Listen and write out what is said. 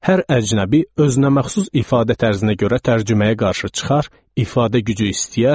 Hər əcnəbi özünə məxsus ifadə tərzinə görə tərcüməyə qarşı çıxar, ifadə gücü istəyər.